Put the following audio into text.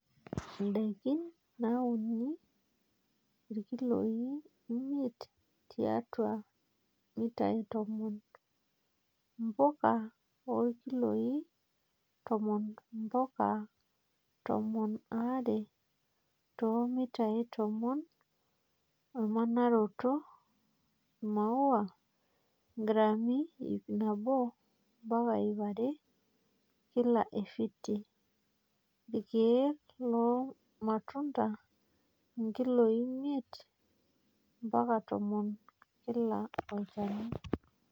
Ndaikin nauni ;Irkiloi miet tiatua mitai tomon, mpuka; Irkiloi tomon mpaka tomon aare to mitai tomon emanaroto, Imaua; ngrami iip nabo mpaka iip are kila efiti, irkiek loormatunda; nkiloi miet mpaka tomon kila olchani.